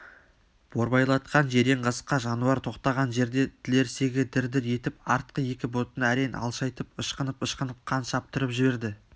борбайлатқан жирен қасқа жануар тоқтаған жерде тілерсегі дір-дір етіп артқы екі бұтын әрең алшайтып ышқынып-ышқынып қан шаптырып жіберді